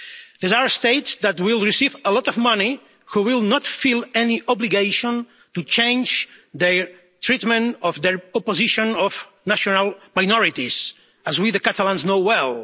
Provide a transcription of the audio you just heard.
There are states that will receive a lot of money but will not feel any obligation to change their treatment of or their opposition to national minorities, as we Catalans know well.